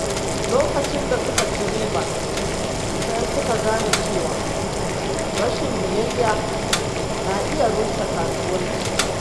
Lokacin da suka ci riba, sai suka gane cewa rashin biyayya na iya rushe kasuwanci.